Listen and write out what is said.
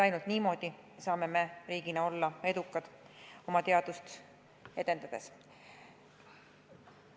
Ainult niimoodi saame riigina olla edukad oma teadust edendades.